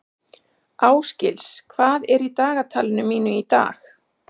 Ásgils, hvað er í dagatalinu mínu í dag?